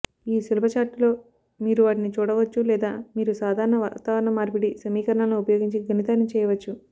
ఈ సులభ ఛార్టులో మీరు వాటిని చూడవచ్చు లేదా మీరు సాధారణ వాతావరణ మార్పిడి సమీకరణాలను ఉపయోగించి గణితాన్ని చేయవచ్చు